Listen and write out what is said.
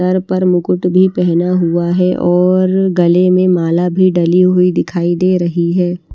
Sir पर मुकुट भी फना हुआ है और गले में माला भी डली हुई दिखाई दे र्हेई है।